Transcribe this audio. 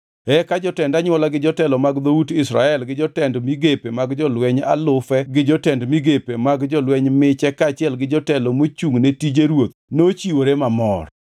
Eka jotend anywola gi jotelo mag dhout Israel, gi jotend migepe mag jolweny alufe to gi jotend migepe mag jolweny miche kaachiel gi jotelo mochungʼne tije ruoth nochiwore mamor.